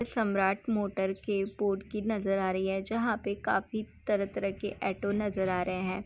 सम्राट मोटर के पोर्ट की नज़र आ रही है जहा पे काफी तरह-तरह के ऐटो नज़र आ रहे है।